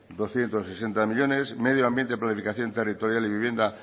doscientos sesenta millónes medio ambiente planificación territorial y vivienda